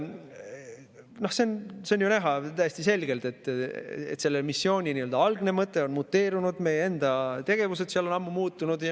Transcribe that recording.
Noh, see on ju täiesti selgelt näha, et selle missiooni algne mõte on muteerunud, meie enda tegevused seal on ammu muutunud.